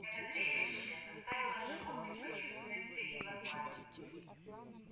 это зрелище заставило животных почувствовать прилив отваги